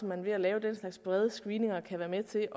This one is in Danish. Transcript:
man ved at lave den slags brede screeninger kan være med til